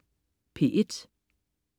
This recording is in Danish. P1: